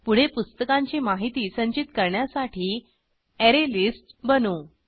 पुढे पुस्तकांची माहिती संचित करण्यासाठी अरेलिस्ट बनवू